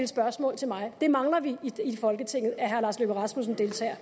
spørgsmål til mig vi mangler i folketinget at herre lars løkke rasmussen deltager